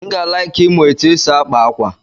M ga-alaịki ịmụ ụtụ esi akpa ákwà.